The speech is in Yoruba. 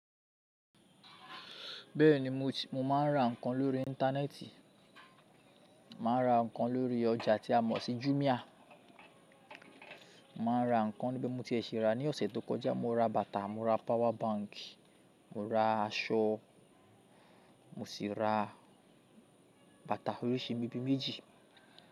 Bẹ́ẹ̀ ni, mo máa ń ra ǹkan lórí Íńtánẹ́ẹ̀tì. Mo maà n ra ǹkan lórí ọjà tí a mọ̀ sí Jumia. Mo máà n ra ǹkan níbè tí mo tiẹ̀ ṣi rà ní ọ̀sẹ̀ tó kọjá, mo ra bàtà, mo ra power bank, mo ra aṣọ mo sì ra bàtà oríṣi bí méjì.